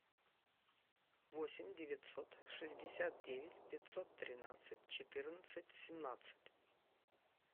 восемь девятьсот шестьдесят девять пятьсот тринадцать четырнадцать семнадцать